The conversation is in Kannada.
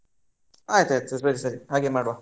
ಆಯ್ತಾಯ್ತು ಸರಿ ಸರಿ ಹಾಗೆ ಮಾಡ್ವ.